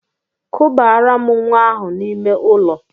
Kubaara m nwa ahụ n'ime ụlọ!